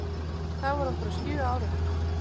Þá var hún bara sjö ára.